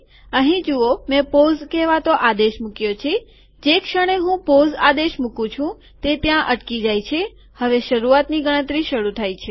અહીં જુઓ મેં પોઝ વિરામ કહેવાતો આદેશ મુક્યો છે જે ક્ષણે હું પોઝ આદેશ મુકું છું તે ત્યાં અટકી જાય છે હવે શરૂઆતની ગણતરી શરૂ થાય છે